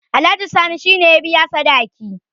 alhaji sani shi ne ya biya sadaki